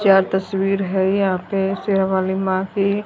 ये तस्वीर है यहां पे शेरावाली मां की--